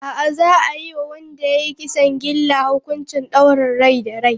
A'a, za a yi wa wanda ya yi kisan gilla hukuncin daurin rai da rai.